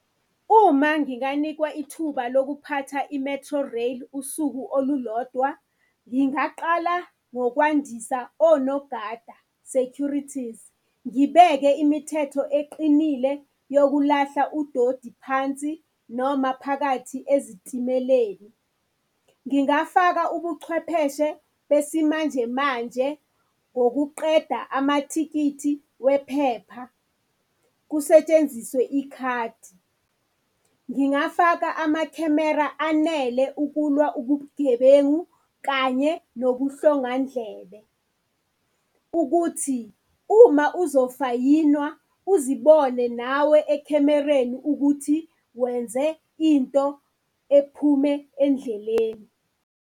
Uma nginganikwa ithuba lokuphatha i-Metrorail usuku olulodwa ngingaqala ngokwandisa onogada, securities, ngibeke imithetho eqinile yokulahla udodi phansi noma phakathi ezitimeleni. Ngingafaka ubuchwepheshe besimanjemanje ngokuqeda amathikithi wephepha kusetshenziswe ikhadi. Ngingafaka amakhemera anele ukulwa ubugebengu kanye nobuhlongandlebe, ukuthi uma uzofayinwa uzibone nawe ekhemereni ukuthi wenze into ephume endleleni.